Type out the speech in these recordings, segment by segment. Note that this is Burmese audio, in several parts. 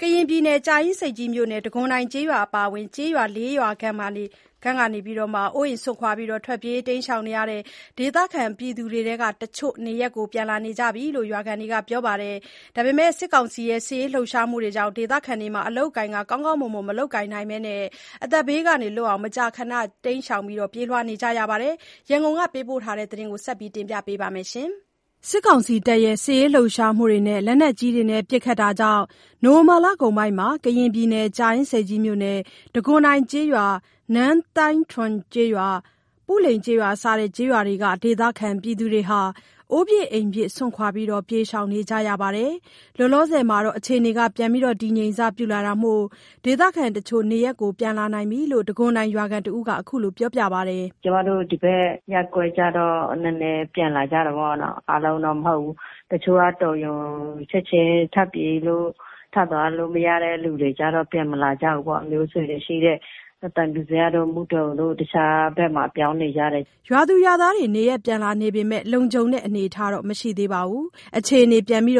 ကရင်ပြည်နယ်၊ ကြာအင်းဆိပ်ကြီးမြို့နယ် တံခွန်တိုင်ကျေးရွာအပါအဝင် ကျေးရွာ ၄ ရွာခန့် ကနေ အိုးအိမ်စွန့်ခွာပြေးနေရတဲ့ ဒေသခံတွေဟာ တချို့က နေရပ်ပြန် လာနိုင်ကြပြီလို့ ရွာခံတွေက ပြောပါတယ်။ စစ်ကောင်စီရဲ့ စစ်ရေးလှုပ်ရှားမှုကြောင့် ဒေသခံတွေ အလုပ်အကိုင် ကောင်းကောင်းမွန်မွန် မလုပ်ကိုင်နိုင်ဘဲ မကြာခဏ ပြေးလွှားနေရတယ်လို့ ဆိုပါတယ်။ ရန်ကုန်ကပေးပို့တဲ့ သတင်းကို မဆုမွန် က တင်ပြပေးထားပါတယ်။ စစ်ရေးလှုပ်ရှားမှုနဲ့ လက်နက်ကြီးပစ်ခတ်မှုတွေကြောင့် နိုဝင်ဘာလကုန်ပိုင်းမှာ တံခွန်တိုင်ရွာ၊ နန်းသိုင်းထွန်ကျေးရွာ၊ ပုလိန်ကျေးရွာစတဲ့ ကျေးရွာတွေက ဒေသခံတွေဟာ အိုးပစ်အိမ်ပစ် စွန့်ခွာ ပြေးရှောင်ကြရပါတယ်။ လောလောဆယ် တည်ငြိမ်စပြုလာတာမို့ ဒေသခံတချို့ နေရပ်ပြန်လာနိုင်ပြီလို့ တံခွန်တိုင်ရွာခံ တဦးက ခုလို ပြောပါတယ်။ “ကျမတို့ ဒီဘက် ရပ်ကွက်ကျတော့ နည်းနည်းပြန်လာကြတာပေါ့နော်၊ အားလုံးတော့ မဟုတ်ဘူး။ တချို့က တော်ရုံချက်ချင်းထပြေးလို့၊ ထသွားလို့ မရတဲ့လူတွေကျတော့ ပြန်မလာကြဘူးပေါ့။ ဆွေမျိုးတွေရှိတဲ့ သံဖြူဇရပ်တို့၊ မုဒုံတို့ တခြားဘက်မှာ ပြောင်းနေကြတယ်။” ရွာသူရွာသားတွေ နေရပ်ပြန်လာနေပေမယ့် လုံခြုံတဲ့အနေအထားမရှိသေးပါဘူး။အခြေအနေတင်းမာ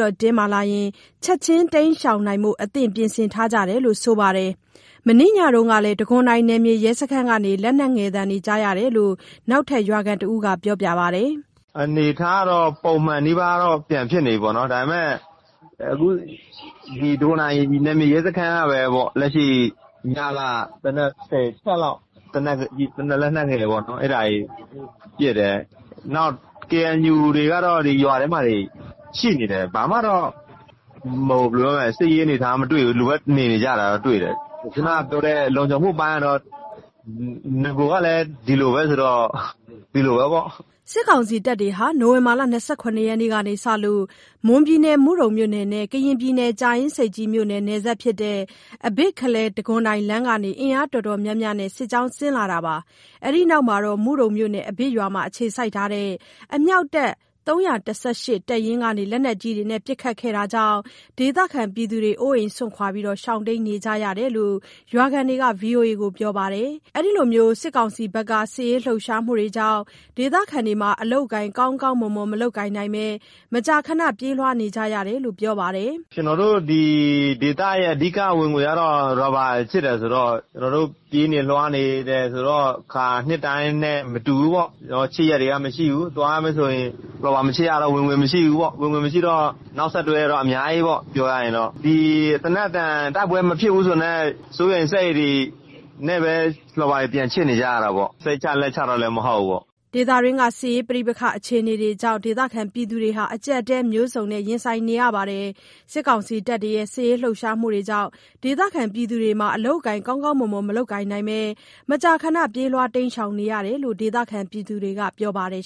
လာရင် ချက်ချင်းတိမ်းရှောင်နိုင်ရန် အသင့်ပြင်ဆင်ထားကြတယ်လို့ ဆိုပါတယ်။ မနေ့ညတုန်းကလည်း တံခွန်တိုင်နယ်မြေရဲစခန်းကနေ လက်နက်ငယ်သံတွေ ကြားရတယ်လို့ နောက်ထပ်ရွာခံတဦးက ပြောပါတယ်။ “အနေအထားကတော့ ပုံမှန်နီးပါးတော့ ဖြစ်ပြန်နေပြီးတော့ပေါ့၊ ဒါပေမဲ့ ဒီနယ်မြေရဲစခန်းကပဲပေါ့၊ လက်ရှိ ညက သေနတ် ၁၀ ချက်လောက် လက်နက်ငယ်တွေပေါ့နော် အဲ့ပစ်တယ်၊ KNU တွေကတော့ ဒီရွာထဲမှာတွေ ရှိနေတယ်။ ဘာမှတော့... စစ်ရေးအနေအထားမတွေ့ဘူး။ လူက နေနေကြတာတွေ့တယ်။ ခုနပြောတဲ့ လုံခြုံမှုအပိုင်းကတော့ နဂိုကလည်း ဒီလိုပဲဆိုတော့ ဒီလိုပဲပေါ့။” စစ်ကောင်စီတပ်တွေဟာ နိုဝင်ဘာ၂၇ ရက်နေ့ကစလို့ မွန်ပြည်နယ် မုဒုံမြို့နယ်နဲ့ ကရင်ပြည်နယ် ကြာအင်းဆိပ်ကြီးမြို့နယ် နယ်စပ်ဖြစ်တဲ့ အဘစ်-ခလယ်တံခွန်တိုင်လမ်းကနေ အင်အားအတော်များများနဲ့ စစ်ကြောင်းဆင်းလာတာပါ။ အဲဒီနောက် မုဒုံမြို့နယ် အဘစ်ရွာမှာအခြေစိုက်တဲ့ အမြောက်တပ် (၃၁၈) တပ်ရင်းကနေ လက်နက်ကြီးတွေပစ်ခတ်ခဲ့တာကြောင့် ဒေသခံတွေ အိုးအိမ်စွန့်ခွာရှောင်တိမ်းကြရတာလို့ ရွာခံတွေက VOA ကို ပြောထားပါတယ်။ စစ်ကောင်စီရဲ့ စစ်ရေးလှုပ်ရှားမှုကြောင့် ဒေသခံတွေ အလုပ်အကိုင် ကောင်းကောင်းမွန်မွန် မလုပ်ကိုင်နိုင်ဘဲ မကြာမကြာ ပြေးလွှားနေရတယ်လို့ ပြောပါတယ်။ “ဒီဒေသရဲ့ အဓိက ဝင်ငွေကတော့ ရာဘာခြစ်တယ်ဆိုတော့ ကျနော်တို့ ပြေးနေလွှားနေတယ်ဆိုတော့ အခါတိုင်းနှစ်တွေနဲ့ မတူဘူးပေါ့၊ ခြစ်ရက်တွေက မရှိဘူး၊ ရာဘာမခြစ်ရတော့ ဝင်ငွေမရှိဘူးပေါ့၊ ဝင်ငွေမရှိတော့ နောက်ဆက်တွဲက အများကြီးပေါ့။ ပြောရရင်တော့။ ဒီသေနတ်သံ တိုက်ပွဲမဖြစ်ဘူးဆိုတာနဲ့ စိုးရိမ်စိတ်တွေနဲ့ ရာဘာပြန်ခြစ်နေကြတာပေါ့၊ စိတ်ချလက်ချတော့လည်း မဟုတ်ဘူးပေါ့။” စစ်ရေး ပဋိပက္ခအခြေအနေတွေ ဒေသခံတွေ အကြပ်အတည်း မျိုးစုံ ရင်ဆိုင်နေရပြီး စစ်ကောင်စီရဲ့ စစ်ရေးလှုပ်ရှားမှုကြောင့် ဒေသခံတွေ အလုပ်အကိုင် ကောင်းကောင်းမွန်မွန် မလုပ်ကိုင်နိုင်ဘဲ မကြာခဏ ပြေးလွှားနေရတယ်လို့ ဒေသခံတွေကပြောပါတယ်